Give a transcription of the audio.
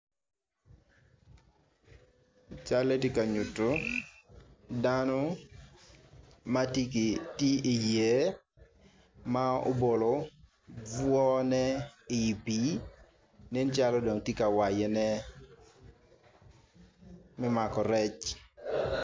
Calle tye ka nyutu dano ma ti ki yer ma obolo obwone i pii nen calo jalo dong ti ka wayane me mako rec